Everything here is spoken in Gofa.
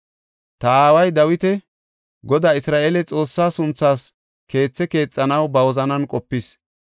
“Ta aaway Dawiti, Godaa Isra7eele Xoossaa sunthaas keethe keexanaw ba wozanan qopis.